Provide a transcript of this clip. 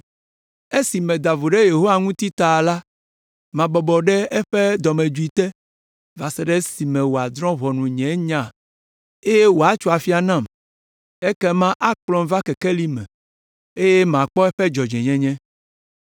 Esi meda vo ɖe Yehowa ŋuti ta la mabɔbɔ ɖe eƒe dɔmedzoe te va se ɖe esime wòadrɔ̃ nye nya eye wòatso afia nam, ekema akplɔm va kekeli me eye makpɔ eƒe dzɔdzɔenyenye.